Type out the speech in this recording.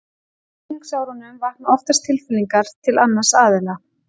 Á unglingsárunum vakna oftast tilfinningar til annars aðila.